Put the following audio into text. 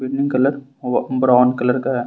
colour brown colour का--